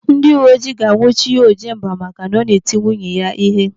Ndị uwe ojii ga-anwụchi Ojemba maka na ọ na-eti nwunye ya ihe.